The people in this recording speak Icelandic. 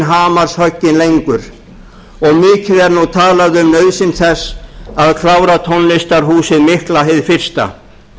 hamarshögg lengur og mikið er nú talað um nauðsyn þess að klára tónlistarhúsið mikla hið fyrsta